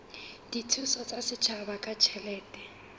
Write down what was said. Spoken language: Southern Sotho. dithuso tsa setjhaba ka ditjhelete